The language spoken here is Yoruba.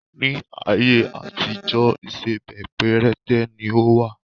Ni ayé àtijọ́ ìsebẹ́ péréte ni ó wà.